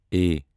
A